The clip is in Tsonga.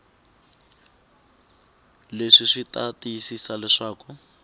leswi swi ta tiyisisa leswaku